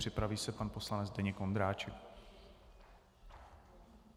Připraví se pan poslanec Zdeněk Ondráček.